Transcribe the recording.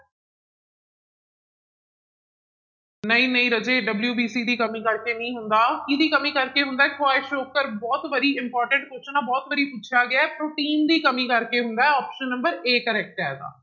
ਨਹੀਂ ਨਹੀਂ ਰਾਜੇ WBC ਦੀ ਕਮੀ ਕਰਕੇ ਨਹੀਂ ਹੁੰਦਾ, ਕਿਹਦੀ ਕਮੀ ਕਰਕੇ ਹੁੰਦਾ ਹੈ, ਕੁਆਈਸੋਕਰ ਬਹੁਤ ਵਾਰੀ important question ਆਂ ਬਹੁਤ ਵਾਰੀ ਪੁੱਛਿਆ ਗਿਆ ਹੈ, ਪ੍ਰੋਟੀਨ ਦੀ ਕਮੀ ਕਰਕੇ ਹੁੰਦਾ ਹੈ option number a correct ਆਏਗਾ।